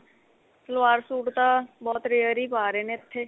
salwar suite ਤਾਂ ਬਹੁਤ rare ਹੀ ਪਾ ਰਹੇ ਨੇ ਇੱਥੇ